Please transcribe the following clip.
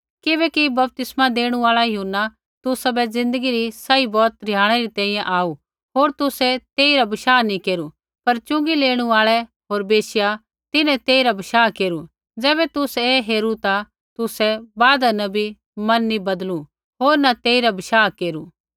किबैकि बपतिस्मै देणु आल़ा यूहन्ना तुसाबै ज़िन्दगी री सही बौत रिहाणै री तैंईंयैं आऊ होर तुसै तेइरा बशाह नी केरू पर च़ुँगी लेणू आल़ै होर वैश्या तिन्हैं तेइरा बशाह केरू ज़ैबै तुसै ऐ हेरू ता तुसै बादा न भी मन नैंई बदलू होर न तेइरा बशाह केरू